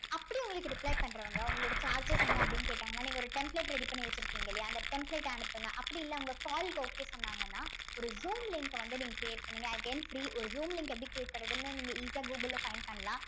அப்படி உங்களுக்கு reply பண்றவுங்க உங்களோட charges என்ன அப்படின்னு கேட்டாங்கன்னா நீங்க ஒரு template ready பண்ணி வச்சிருக்கீங்க இல்லையா அந்த template அ அனுப்புங்க அப்படி இல்ல உங்க call க்கு okay சொன்னாங்கன்னா ஒரு zoom link அ வந்து நீங்க create பண்ணுங்க again free ஒரு zoom link எப்படி create பண்றதுன்னு நீங்க easy ஆ google ல find பண்ணலாம்